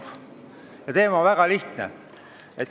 Selle teema väga lihtne.